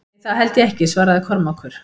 Nei, það held ég ekki, svaraði Kormákur.